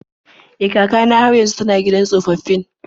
E, kaka na har yanzu yana can gidan tsofaffin.